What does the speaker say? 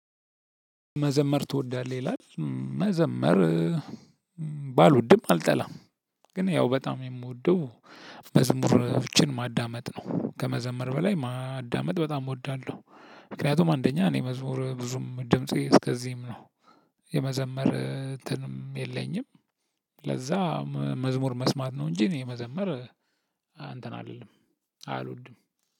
መዘመር ትወዳለህ ይላል? መዘመር ባልውድም አልጠላም ግን ያው በጣም የምወደው መዝሙሮችን ማዳመጥ ነው ከመዘመር በላይ ማዳመጥ በጣም እወዳለሁ። ምክንያቱም አንደኛ እኔ መዝሙር ብዙም ድምፄ እስከዚህም ነው። የመዘመር እንትንም የለኝም። ለዛ መዝሙር መስማት ነው። እንጂ እኔ የመዘመር እንተን አልልም አልወድም።